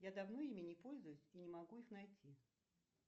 я давно ими не пользуюсь и не могу их найти